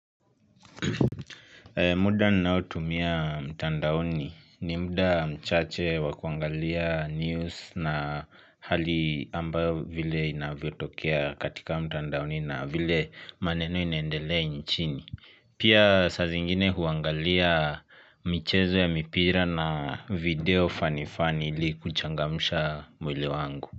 Muda ninao tumia mtandaoni ni muda mchache wakuangalia news na hali ambayo vile inavyo tokea katika mtandaoni na vile maneno inaendelea nchini Pia sa zingine huangalia michezo ya mipira na video fanifani ili kuchangamusha mwili wangu.